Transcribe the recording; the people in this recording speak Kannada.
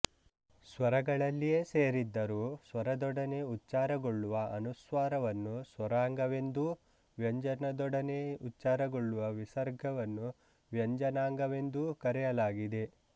ಸ್ವರಗಳಲ್ಲಿಯೇ ಸೇರಿದ್ದರೂ ಸ್ವರದೊಡನೆ ಉಚ್ಚಾರಗೊಳ್ಳುವ ಅನುಸ್ವಾರವನ್ನು ಸ್ವರಾಂಗವೆಂದೂ ವ್ಯಂಜನದೊಢನೆ ಉಚ್ಚಾರಗೊಳ್ಳುವ ವಿಸರ್ಗವನ್ನು ವ್ವಂಜನಾಂಗವೆಂದೂ ಕರೆಯಲಾಗಿದೆ